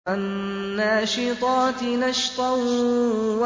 وَالنَّاشِطَاتِ نَشْطًا